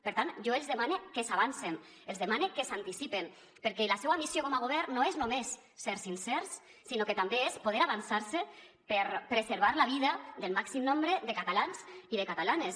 per tant jo els demane que s’avancen els demane que s’anticipen perquè la seua missió com a govern no és només ser sincers sinó que també és poder avançar se per preservar la vida del màxim nombre de catalans i de catalanes